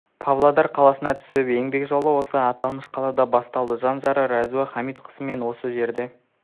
павлодар қаласында түсіп еңбек жолы осы аталмыш қалада басталады жан жары рауза хамитқызымен осы жерде